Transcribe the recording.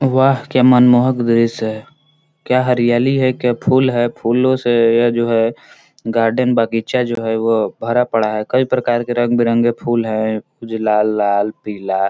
वाह! क्या मनमोहक दृश्य है क्या हरियाली है क्या फूल है फूलों से यह जो है गार्डन बागीचा जो है वो भरा पड़ा है कई प्रकार के रंग-बिरंगे फूल हैं जो लाल-लाल पीला--